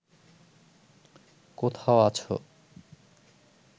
কোথাও আছো